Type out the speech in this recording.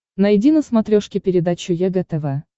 найди на смотрешке передачу егэ тв